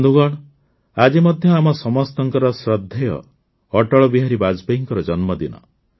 ବନ୍ଧୁଗଣ ଆଜି ମଧ୍ୟ ଆମ ସମସ୍ତଙ୍କ ଶ୍ରଦ୍ଧେୟ ଅଟଳବିହାରୀ ବାଜପେୟୀଙ୍କ ଜନ୍ମଦିନ